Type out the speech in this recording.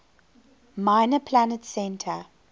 minor planet center